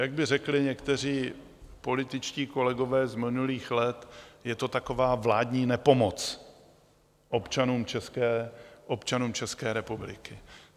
Jak by řekli někteří političtí kolegové z minulých let, je to taková vládní nepomoc občanům České republiky.